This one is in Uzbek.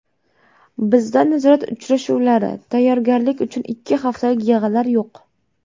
Bizda nazorat uchrashuvlari, tayyorgarlik uchun ikki haftalik yig‘inlar yo‘q.